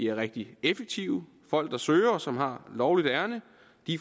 er rigtig effektive folk der søger og som har lovligt ærinde